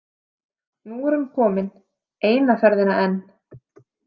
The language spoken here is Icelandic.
Nú er hún komin eina ferðina enn.